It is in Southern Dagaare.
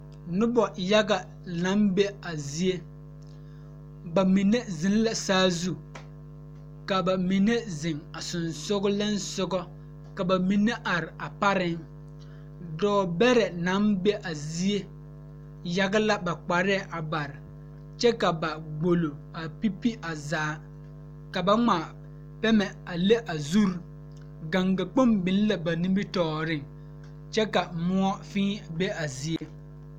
Nobɔ yage naŋ be a zie ba mine zeŋ la saazu ka ba mine zeŋ a seŋsugliŋsugɔ ka ba mine are a pareŋ dɔɔ bɛrɛ naŋ be a zie yage la kparɛɛ a bare kyɛ ka ba gbolo a pi pi a zaa ka ba ngmaa pɛmɛ a le a zure gaŋga kpoŋ biŋ la ba nimitooreŋ kyɛ ka moɔ fēē be a zie.